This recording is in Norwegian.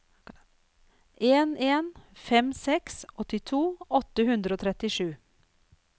en en fem seks åttito åtte hundre og trettisju